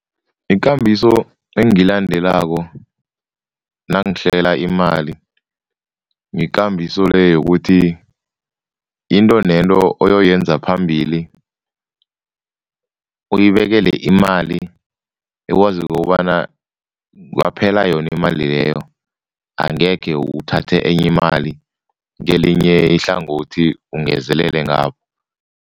Ikambiso engiyilandelako nangihlela imali, yikambiso le yokuthi into nento oyoyenza phambili uyibekele imali ekwazi ukobana kungaphela yona imali leyo, angekhe uthathe enye imali kelinye ihlangothi ungezelele ngapho.